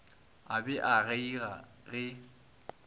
a be a kgeiga ge